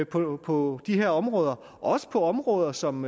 på på de her områder også på områder som